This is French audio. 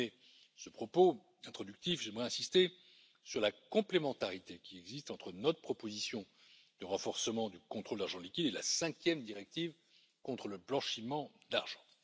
Pour terminer ce propos introductif, j'aimerais insister sur la complémentarité qui existe entre notre proposition de renforcement du contrôle de l'argent liquide et la cinquième directive contre le blanchiment d'argent.